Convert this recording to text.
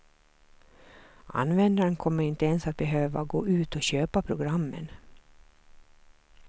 Användaren kommer inte ens att behöva gå ut och köpa programmen.